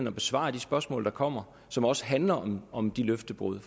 at besvare de spørgsmål der kommer som også handler om de løftebrud